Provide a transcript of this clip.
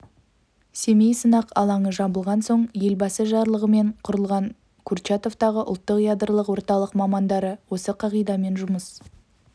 семей сынақ алаңы жабылған соң елбасы жарлығымен құрылған курчатовтағы ұлттық ядролық орталық мамандары осы қағидамен жұмыс